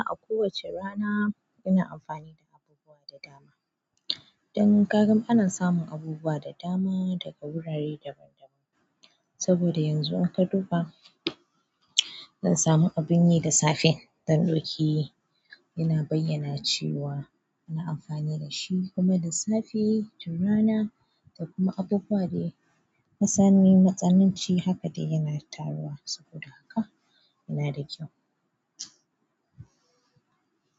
A kowace rana ina amfani da abubuwa da dama. Don kagan ana samun abubuwa da dama daga wurare daban daban. Saboda yanzu in ka duba, zan samu abin yi da safe, zan ɗauki yana bayyana cewa ana amfani dashi kuma da safe, tun rana, da kuma abu buwa de kin san ni matsananci haka de yana taruwa. Saboda haka yana da kyau.